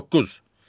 Doqquz.